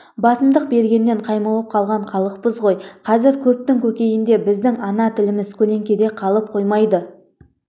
басымдық бергеннен қаймығып қалған халықпыз ғой қазір көптің көкейінде біздің ана тіліміз көлеңкеде қалып қоймайды